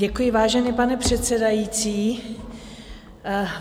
Děkuji, vážený pane předsedající.